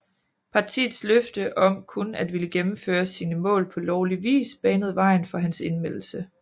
Partiets løfte om kun at ville gennemføre sine mål på lovlig vis banede vejen for hans indmeldelse